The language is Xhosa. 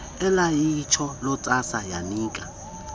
elaliyitsho lontsasa yanika